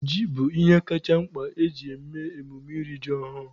Ji bụ ihe kacha mkpa na emume iri ji ọhụrụ.